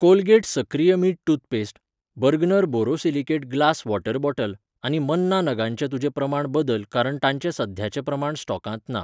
Colgate सक्रिय मीठ toothpaste, Bergner borosilicate glass water bottle आनी मन्ना नगांचें तुजें प्रमाण बदल कारण तांचे सद्याचे प्रमाण स्टॉकांत ना.